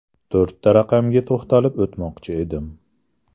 To‘rtta raqamga to‘xtalib o‘tmoqchi edim.